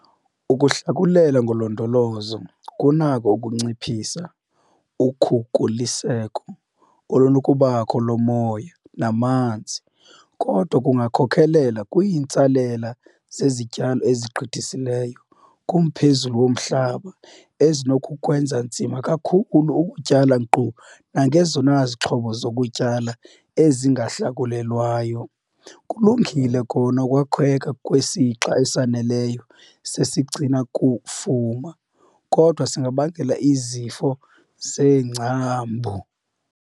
Ukuhlakulela ngolondolozo kunakho ukunciphisa ukhukuliseko olunokubakho lomoya namanzi kodwa kungakhokelela kwiintsalela zezityalo ezigqithisileyo kumphezulu womhlaba ezinokukwenza nzima kakhulu ukutyala nkqu nangezona 'zixhobo zokutyala ezingahlakulelwayo'. Kulungile kona ukwakheka kwesixa esaneleyo sesigcina-kufuma kodwa singabangela izifo zeengcambu.